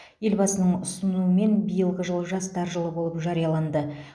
елбасының ұсынуымен биылғы жыл жастар жылы болып жарияланды